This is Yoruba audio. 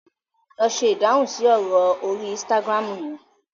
lọ se Ìdáhùn si ọrọ orí Instagram yen!